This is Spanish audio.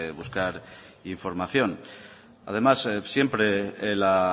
buscar información además siempre la